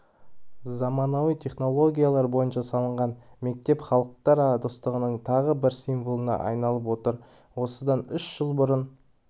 заманауи технологиялар бойынша салынған мектеп халықтар достығының тағы бір символына айналып отыр осыдан үш жыл бұрын